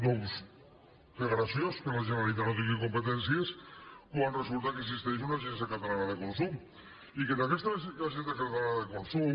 doncs que graciós que la generalitat no tingui competències quan resulta que existeix una agència catalana de consum i que en aquesta agència catalana de consum